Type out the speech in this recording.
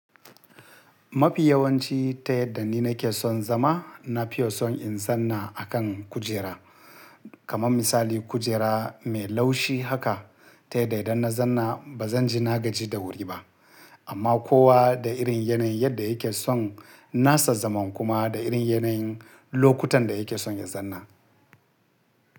Mafi yawanci ta yadda ni nake son zama, na fiye son in zanna a kan kujera. Kaman misali kujera mai laushi haka ta yadda idan na zanna ba zan ji na gaji da wuri ba. Amma kowa da irin yanayin yadda yake son nasa zaman kuma da irin yanayin lokutan da yake son ya zanna.